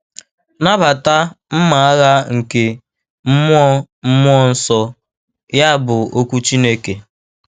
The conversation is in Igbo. “Nabata... mma agha nke mmụọ mmụọ nsọ, ya bụ, okwu Chineke.